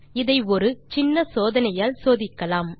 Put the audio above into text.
அதை ஒரு சின்ன சோதனையால் சோதிக்கலாம்